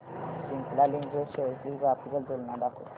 Cipla limited shares ची graphical तुलना दाखव